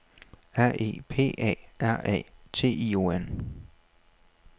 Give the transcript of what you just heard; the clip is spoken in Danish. R E P A R A T I O N